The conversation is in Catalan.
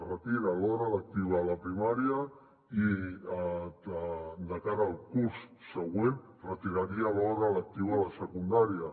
retira l’hora lectiva a la primària i de cara al curs següent retiraria l’hora lectiva a la secundària